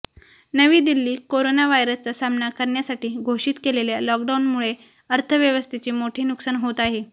नवी दिल्लीः करोना व्हायरसचा सामना करण्यासाठी घोषित केलेल्या लॉकडाऊनमुळे अर्थव्यवस्थेचे मोठे नुकसान होत आहे